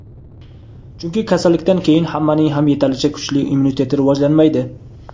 chunki kasallikdan keyin hammaning ham yetarlicha kuchli immuniteti rivojlanmaydi.